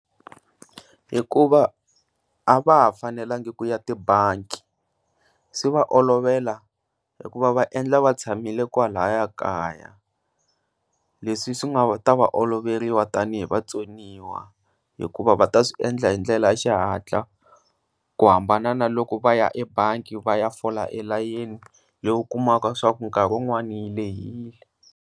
Hikuva a va ha fanelangi ku ya tibangi swi va olovela hikuva va endla va tshamile kwa laha kaya, leswi swi nga ta oloveriwa tanihi vatsoniwa hikuva va ta swi endla hi ndlela ya xihatla ku hambana na loko va ya ebangi va ya fola layeni lowu kumaka leswaku nkarhi un'wani yi lehile.